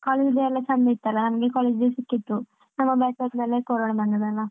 ಹಾ college day ಎಲ್ಲ ಚಂದ ಇತ್ತು ಅಲ ನಮ್ಗೆ college day ಸಿಕ್ಕಿತ್ತು ನಮ್ಮ batch ಆದ್ಮೇಲೆ ಕೊರೋನಾ ಬಂದ್ದದ್ದಲ.